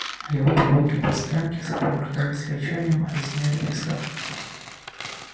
его прогулки по стоянке сопровождались рычанием грызнёй визгом